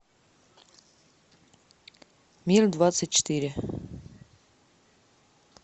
мир двадцать четыре